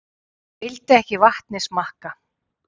Vildi ekki vatnið smakka